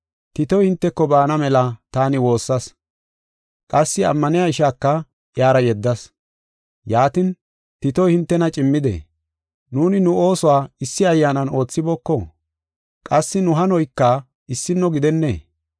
Titoy hinteko baana mela taani woossas; qassi ammaniya ishaaka iyara yeddas. Yaatin, Titoy hintena cimmidee? Nuuni nu oosuwa issi ayyaanan oothibooko? Qassi nu hanoyka issino gidennee?